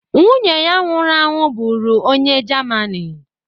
Nwunye ya nwụrụ anwụ bụru onye jamanị